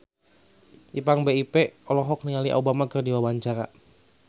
Ipank BIP olohok ningali Obama keur diwawancara